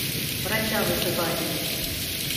врача вызывали